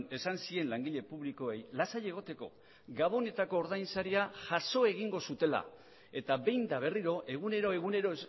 esan zien langile publikoei lasai egoteko gabonetako ordain saria jaso egingo zutela eta behin eta berriro egunero egunero